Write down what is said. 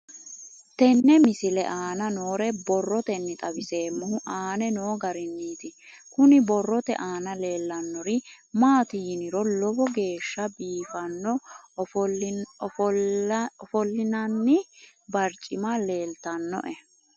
Tenne misile aana noore borroteni xawiseemohu aane noo gariniiti. Kunni borrote aana leelanori maati yiniro lowo geeshsha biifanno ofoolinanni barcimma leeltanoe.